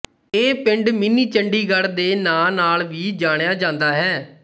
ਇਹ ਪਿੰਡ ਮਿੰਨੀ ਚੰਡੀਗੜ ਦੇ ਨਾੰ ਨਾਲ ਵੀ ਜਾਣਿਆ ਜਾਂਦਾ ਹੈ